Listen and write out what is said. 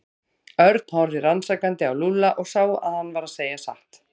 Örn horfði rannsakandi á Lúlla og sá að hann var að segja satt.